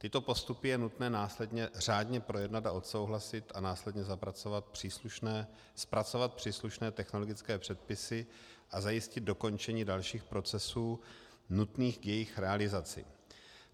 Tyto postupy je nutné následně řádně projednat a odsouhlasit a následně zpracovat příslušné technologické předpisy a zajistit dokončení dalších procesů nutných k jejich realizaci.